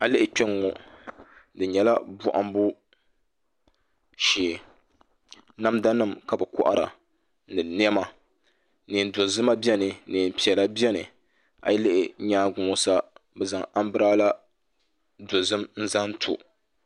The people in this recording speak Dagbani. A yi lihi kpɛŋŋo di nyɛla bohambu shee namda nim ka bi kohara ni niɛma neen dozima biɛni neen piɛla biɛni a yi lihi nyaangi ŋɔ sa bi zaŋ anbirɛla zaɣ dozim zaŋ to